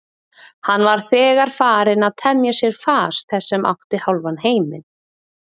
Hann var þegar farinn að temja sér fas þess sem átti hálfan heiminn.